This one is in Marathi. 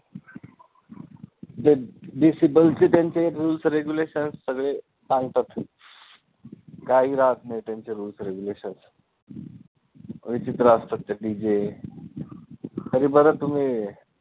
ते decibel चे त्यांचे rules regulations सगळे पांगतात काही राहत नाही त्यांचे rules regulations विचित्र असतात ते DJ तरी बरं तुम्ही